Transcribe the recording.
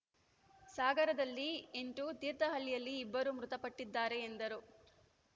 ಸಾಗರದಲ್ಲಿ ಎಂಟು ತೀರ್ಥಹಳ್ಳಿಯಲ್ಲಿ ಇಬ್ಬರು ಮೃತಪಟ್ಟಿದ್ದಾರೆ ಎಂದರು